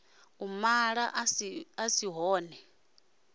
u mala a si ṱho